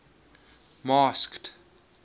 masked